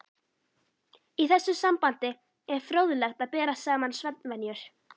Í þessu sambandi er fróðlegt að bera saman svefnvenjur